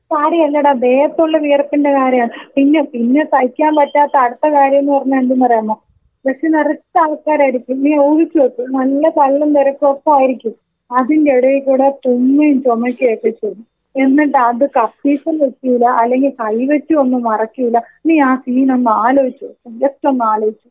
താടി അല്ലെടാ വിയർപ്പിന്റെ കാര്യാണ്. പിന്നെ പിന്നെ സഹിക്കാൻ പറ്റാത്ത അടുത്ത കാര്യം ന്ന് പറഞ്ഞ എന്തെന്നറിയാമോ? ബസ് നിറച്ച് ആൾക്കാരായിരിക്കും നീ ഊഹിച്ചു നോക്ക് നല്ല തള്ളും തിരക്കും ഒക്കെ ആയിരിക്കും. അതിന്റെ എടെ കൂടെ തുമ്മും ചുമക്കും ഒക്കെ ചെയ്യും. എന്നിട്ട് അത് കർച്ചീഫും വെക്കൂല.അല്ലെങ്കിൽ കൈവെച്ച് ഒന്ന് മറക്കൂല. നീ ആ സീൻ ഒന്ന് ആലോയിച്ചു നോക്ക്. ജസ്റ്റ് ഒന്ന് ആലോയിച്.